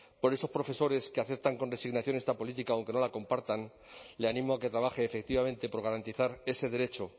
por esos profesores que aceptan con resignación esta política aunque no la compartan le animo a que trabaje efectivamente por garantizar ese derecho